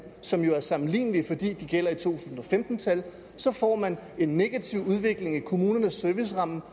som jo altså er sammenlignelige fordi de gælder i to tusind og femten tal så får man en negativ udvikling i kommunernes serviceramme på